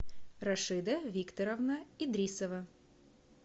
рашида викторовна идрисова